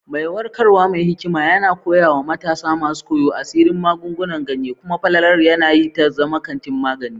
Mai warkarwa mai hikima yana koya wa matasa masu koyo asirin magungunan ganye, kuma falalar yanayi ta zama kantin magani.